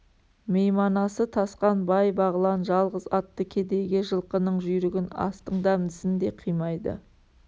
мейманасы тасқан бай бағлан жалғыз атты кедейге жылқының жүйрігін астың дәмдісін де қимайды